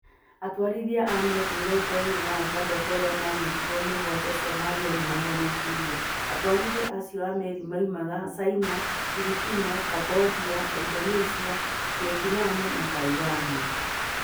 Atwarithia a meri mĩrongo ĩĩrĩ na atandatũ arĩa maanyitirũo mĩgwate Somalia nĩ mahonokirio. Atwarithia acio a meri moimaga China, Philippines, Cambodia, Indonesia, Vietnam, na Taiwan.